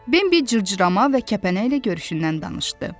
Bimbi cırcırama və kəpənəklə görüşündən danışdı.